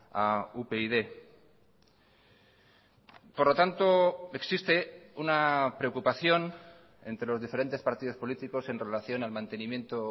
a upyd por lo tanto existe una preocupación entre los diferentes partidos políticos en relación al mantenimiento